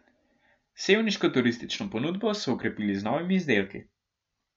Sevniško turistično ponudbo so okrepili z novimi izdelki.